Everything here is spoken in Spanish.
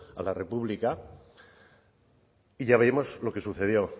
a la república y ya vimos lo que sucedió